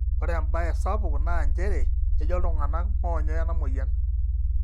ore embae sapuk naa njere ejo iltung'anak moonyoo ina mweyian